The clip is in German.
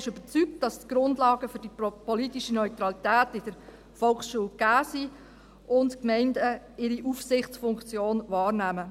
Die EVP ist überzeugt, dass die Grundlagen für die politische Neutralität in der Volksschule gegeben sind und die Gemeinden ihre Aufsichtsfunktion wahrnehmen.